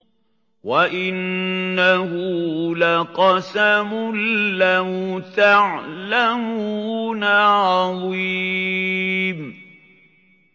وَإِنَّهُ لَقَسَمٌ لَّوْ تَعْلَمُونَ عَظِيمٌ